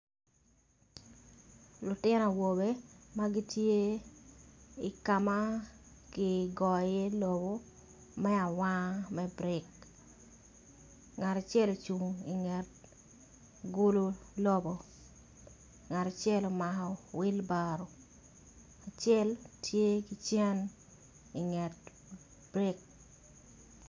Lutino awobe ma gitye ikama kigoyo i iye lobo me awanga me brik ngat acel ocung inget gulu lobo ngat acel omako wilbaro acel tye ki cen inget brik.